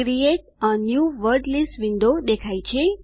create a new word list window દેખાય છે